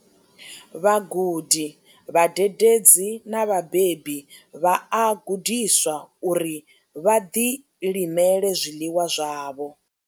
Vhagudi, vhadededzi na vhabebi vha a gudiswa uri vha ḓilimele zwiḽiwa zwavho.